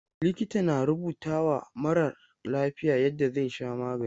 Likita na rubutawa marar lafiya yadda zai sha magani.